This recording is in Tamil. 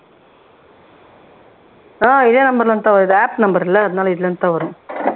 ஆஹ் இதே நம்பர்ல இருந்துதான் வருது நம்பர்ல அதனால இதுல இருந்து தான் வரும்